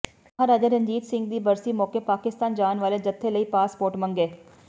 ਮਹਾਰਾਜਾ ਰਣਜੀਤ ਸਿੰਘ ਦੀ ਬਰਸੀ ਮੌਕੇ ਪਾਕਿਸਤਾਨ ਜਾਣ ਵਾਲੇ ਜਥੇ ਲਈ ਪਾਸਪੋਰਟ ਮੰਗੇ